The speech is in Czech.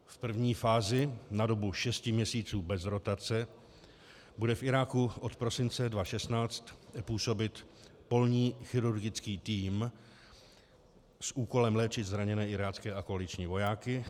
V první fázi na dobu šesti měsíců bez rotace bude v Iráku od prosince 2016 působit polní chirurgický tým s úkolem léčit zraněné irácké a koaliční vojáky.